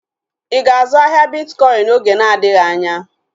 Ịga azụ ahịa bitkọin oge na-adịghị anya?